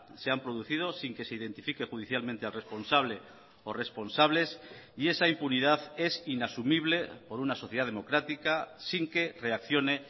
se han producido sin que se identifique judicialmente al responsable o responsables y esa impunidad es inasumible por una sociedad democrática sin que reaccione